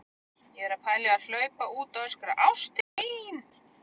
Ég er að pæla í að hlaupa út og öskra: ÁSTIN MÍN!